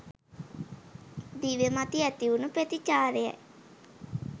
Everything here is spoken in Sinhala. දිව මත ඇතිවුණු ප්‍රතිචාරයයි.